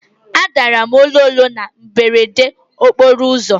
Adara m ololo na mberede n'okporo ụzọ.